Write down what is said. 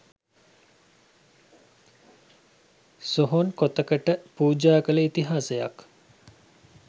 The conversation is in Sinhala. සොහොන් කොතකට පූජා කළ ඉතිහාසයක්